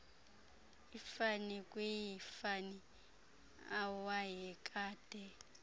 ifani kwiifani awayekade